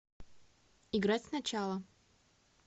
играть сначала